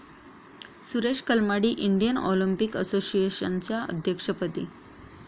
Suresh Kalmadi Indian Olympic असोसिएशनच्या अध्यक्षपदी